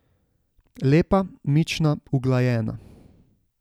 Lepa, mična, uglajena.